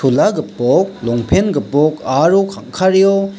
gipok longpen gipok aro kang·kareo--